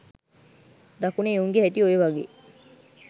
දකුණේ එවුන්ගේ හැටි ඔය වගේ